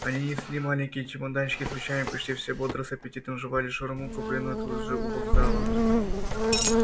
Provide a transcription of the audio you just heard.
они несли маленькие чемоданчики с вещами почти все бодро с аппетитом жевали шаурму купленную тут же у вокзала